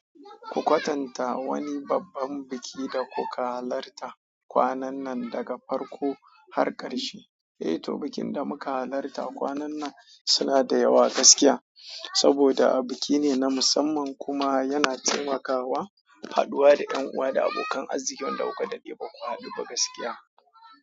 Ku kwatanta wani babban biki da kuka halarta kwanan nan daga farko har ƙarshe. Eh to, bikin da muka halarta kwanan nan suna da yawa gaskiya. Saboda biki ne na musamman kuma yana taimakawa haɗuwa da ƴan uwa da abokan arziki wanda kuka daɗe baku haɗu ba gaskiya.